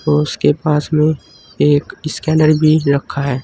उसके पास में एक स्कैनर भी रखा है।